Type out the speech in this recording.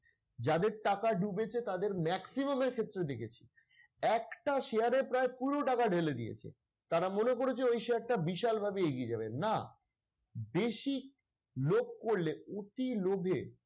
যাদের টাকা ডুবেছে তাদের maximum এর ক্ষেত্রে দেখেছি একটা share এ প্রায় পুরো টাকা ঢেলে দিয়েছে। তারা মনে করেছে ওই share টা বিশাল ভাবে এগিয়ে যাবে, না বেশি লোভ করলে অতি লোভে,